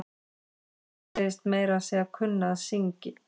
Hún segist meira að segja kunna að syngj.